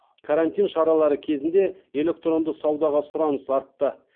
карантин шаралары кезінде электронды саудаға сұраныс артты